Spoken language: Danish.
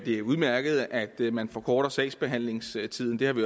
er udmærket at man forkorter sagsbehandlingstiden det har vi